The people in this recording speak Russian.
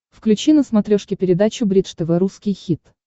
включи на смотрешке передачу бридж тв русский хит